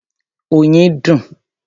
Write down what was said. Oyin dùn.